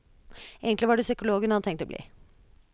Egentlig var det psykolog hun hadde tenkt å bli.